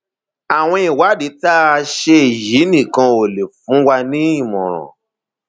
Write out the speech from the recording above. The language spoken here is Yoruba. àwọn ìwádìí tá a ṣe yìí nìkan ò lè fún wa nímọràn